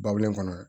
Babulen kɔnɔ